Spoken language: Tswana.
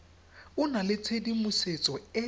go na le tshedimosetso e